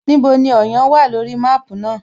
Níbo ni Ọ̀yán wà lórí máàpú náà?